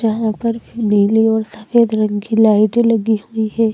यहां पर खी नीली और सफेद रंग की लाइटे लगी हुई है।